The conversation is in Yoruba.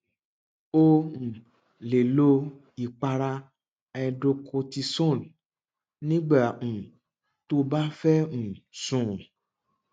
o um lè lo ìpara hydrocortisone nígbà um tó o bá fẹ um sùn